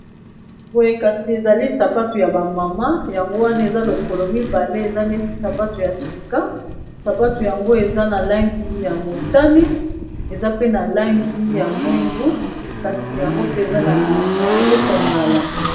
Boye kasi, ezali sapato ya ba mama. Yango wana, eza lokolo mibale. Eza neti sapato ya sika. Sapato yango, eza na langi ya motane, eza pe na langi ya mwindu. Kasi yango pe eza kongala.